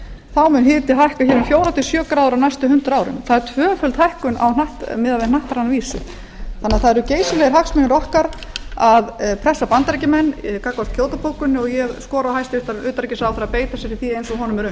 mun hiti hækka hér um fjögur til sjö gráður á næstu hundrað árum það er tvöföld hækkun á hnattræna vísu það eru því geysilegir hagsmunir okkar að pressa bandaríkjamenn gagnvart kýótó bókuninni og ég skora á hæstvirtan utanríkisráðherra